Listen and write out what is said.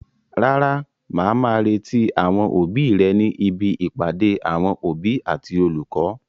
Rárá, màá má retí àwọn òbí rẹ ní ibi ìpàdé àwọn òbí àti olùkọ́.